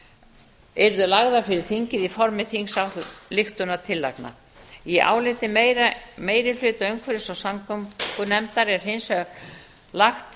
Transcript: verkefnaáætlanir yrðu lagðar fyrir þingið í formi þingsályktunartillagna í áliti meiri hluta umhverfis og samgöngunefndar er hins vegar lagt